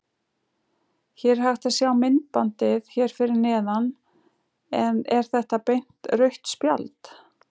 Hægt er að sjá myndbandið hér fyrir neðan en er þetta beint rautt spjald?